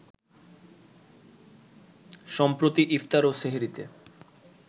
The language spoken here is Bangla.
সম্প্রতি ইফতার ও সেহরিতে